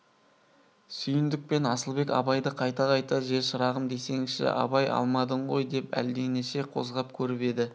сүйіндік пен асылбек абайды қайта-қайта же шырағым жесеңші абай алмадың ғой деп әлденеше қозғап көріп еді